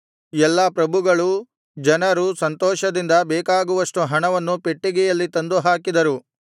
ಎಲ್ಲಾ ಪ್ರಭುಗಳೂ ಜನರೂ ಸಂತೋಷದಿಂದ ಬೇಕಾಗುವಷ್ಟು ಹಣವನ್ನು ಪೆಟ್ಟಿಗೆಯಲ್ಲಿ ತಂದು ಹಾಕಿದರು